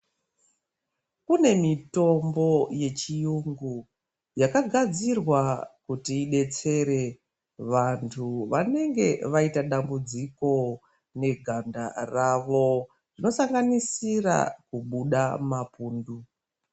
Kune mitombo yechirungu yakagadzirwa kuti idetsere vantu vanenge vaita dambudziko neganda rawo zvosanganisira kubuda mapundu.